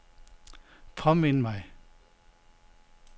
påmind mig